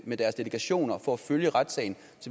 med deres delegationer for at følge retssagen